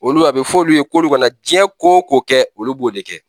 Olu a bɛ f'olu ye k'o kana diɲɛ ko o ko kɛ olu b'o de kɛ.